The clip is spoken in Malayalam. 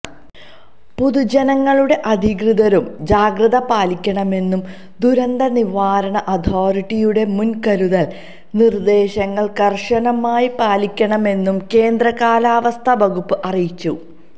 പൊതുജനങ്ങളും അധികൃതരും ജാഗ്രത പാലിക്കണമെന്നും ദുരന്ത നിവാരണ അതോറിറ്റിയുടെ മുൻകരുതൽ നിർദേശങ്ങൾ കർശനമായി പാലിക്കണമെന്നും കേന്ദ്ര കാലാവസ്ഥാ വകുപ്പ് അറിയിച്ചു